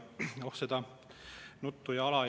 Oh seda nuttu ja hala!